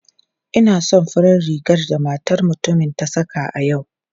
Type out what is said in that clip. Ina son farar rigar da matar mutumin ta saka a yau.